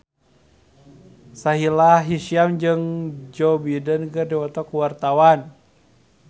Sahila Hisyam jeung Joe Biden keur dipoto ku wartawan